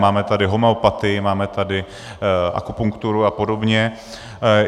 Máme tady homeopatii, máme tady akupunkturu a podobně.